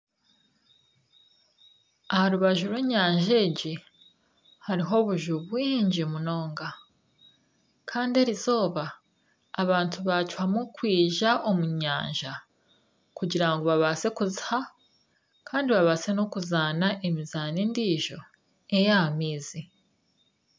Aha rubaju rw'enyanja egi hariho obuju bwingi munonga kandi erizooba abantu baacwamu kwija omu nyanja kugira ngu babaase kuziha. Kandi babaase n'okuzaana emizaano endiijo ey'aha maizi.